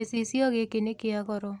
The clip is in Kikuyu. Gĩcicio gĩkĩ nĩ kĩa goro.